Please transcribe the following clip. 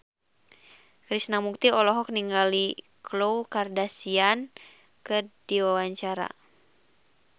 Krishna Mukti olohok ningali Khloe Kardashian keur diwawancara